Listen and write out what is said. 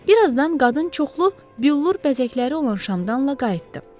Bir azdan qadın çoxlu billur bəzəkləri olan şamdanla qayıtdı.